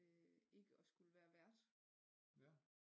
Øh ikke at skulle være vært